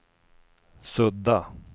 sudda